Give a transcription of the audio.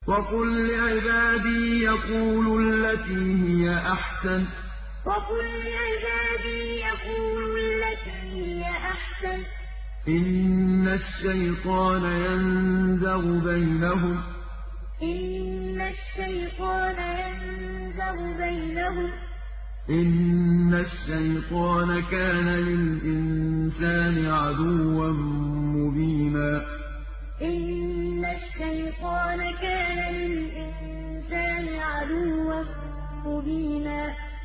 وَقُل لِّعِبَادِي يَقُولُوا الَّتِي هِيَ أَحْسَنُ ۚ إِنَّ الشَّيْطَانَ يَنزَغُ بَيْنَهُمْ ۚ إِنَّ الشَّيْطَانَ كَانَ لِلْإِنسَانِ عَدُوًّا مُّبِينًا وَقُل لِّعِبَادِي يَقُولُوا الَّتِي هِيَ أَحْسَنُ ۚ إِنَّ الشَّيْطَانَ يَنزَغُ بَيْنَهُمْ ۚ إِنَّ الشَّيْطَانَ كَانَ لِلْإِنسَانِ عَدُوًّا مُّبِينًا